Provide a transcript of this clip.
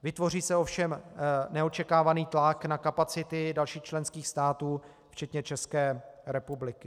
Vytvoří se ovšem neočekávaný tlak na kapacity dalších členských států včetně České republiky.